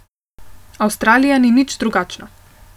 Avstralija ni nič drugačna.